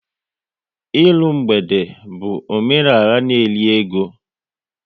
Ịrụ mgbede bụ omenala n'eri ego